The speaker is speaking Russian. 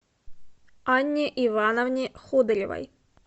анне ивановне ходыревой